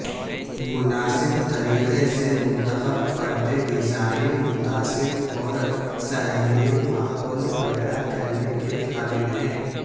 مناسب طریقے سے منتخب پردے ڈیزائن متاثر اور صحیح ماحول پیدا کرنے کے قابل ہے